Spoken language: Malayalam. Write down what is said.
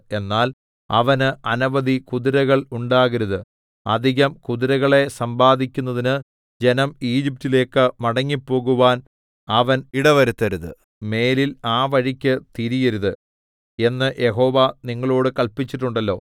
എന്നാൽ അവന് അനവധി കുതിരകൾ ഉണ്ടാകരുത് അധികം കുതിരകളെ സമ്പാദിക്കുന്നതിന് ജനം ഈജിപ്റ്റിലേക്ക് മടങ്ങിപ്പോകുവാൻ അവൻ ഇടവരുത്തരുത് മേലിൽ ആ വഴിക്ക് തിരിയരുത് എന്ന് യഹോവ നിങ്ങളോട് കൽപ്പിച്ചിട്ടുണ്ടല്ലോ